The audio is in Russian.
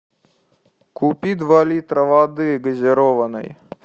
купи два литра воды газированной